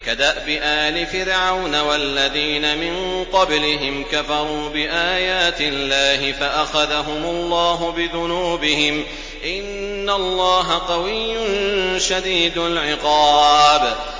كَدَأْبِ آلِ فِرْعَوْنَ ۙ وَالَّذِينَ مِن قَبْلِهِمْ ۚ كَفَرُوا بِآيَاتِ اللَّهِ فَأَخَذَهُمُ اللَّهُ بِذُنُوبِهِمْ ۗ إِنَّ اللَّهَ قَوِيٌّ شَدِيدُ الْعِقَابِ